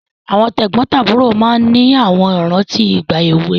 Àwọn tẹ̀gbọ́ntàbúrò máa ń ní àwọn ìrántí ìgbà èwe